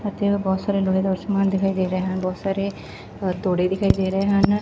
ਅਤੇ ਉਹ ਬਹੁਤ ਸਾਰੇ ਲੋਹੇ ਦਾ ਸਮਾਨ ਦਿਖਾਈ ਦੇ ਰਹੇ ਹਨ ਬਹੁਤ ਸਾਰੇ ਹਥੋੜੇ ਦਿਖਾਈ ਦੇ ਰਹੇ ਹਨ।